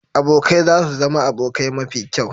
Abokai za su zama abokai mafi kyau.